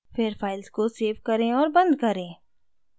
फिर files को save करें और बंद करें